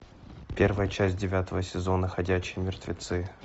первая часть девятого сезона ходячие мертвецы